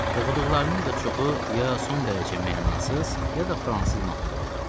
Oxuduqlarının da çoxu ya son dərəcə mənasız, ya da fransız mahnıları olardı.